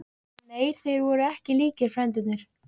Nei, þeir voru ekki líkir, frændurnir.